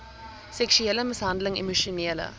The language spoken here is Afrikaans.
seksuele mishandeling emosionele